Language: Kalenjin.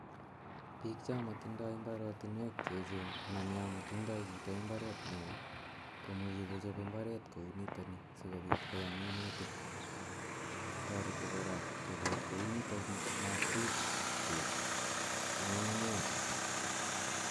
Piik cha mitandai mbarotinwek che echen anan ya matindai chito mbaret ne oo, komuchi kochop mbaret kou nitani asikopit koyam minutik. Tareti kora chopet kou nitani matkoip peek ng'unng'unyek.